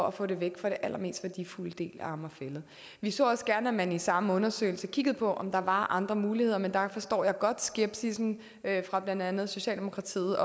at få det væk fra den allermest værdifulde del af amager fælled vi så også gerne at man i samme undersøgelse kiggede på om der var andre muligheder men der forstår jeg godt skepsissen fra blandt andet socialdemokratiets